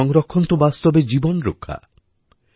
জল সংরক্ষণ তো বাস্তবে জীবন রক্ষা